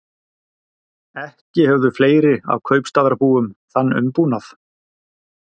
Ekki höfðu fleiri af kaupstaðarbúum þann umbúnað